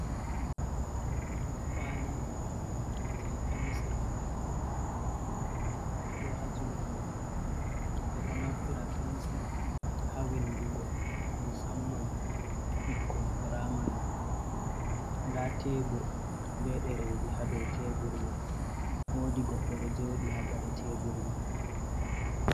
Kwali jei pensir do ha juɗe goddo ɓe ɗo naftira pensir ha windugo musamman ɓikkon piramari ɗa tebur be ɗereji ha ɗow tebur man wodi goddo do jodi ha gaɗa tebur man.